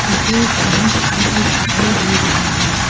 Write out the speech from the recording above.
मुझे एक पीली स्कूल बस दिखाई दे रही है।